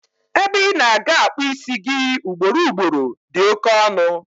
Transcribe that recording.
Ebe ina-aga akpu isi gi ị ugboro ugboro di oké ọnụ